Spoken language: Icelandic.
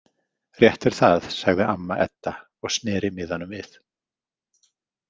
Rétt er það, sagði amma Edda og sneri miðanum við.